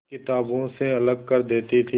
किताबों से अलग कर देती थी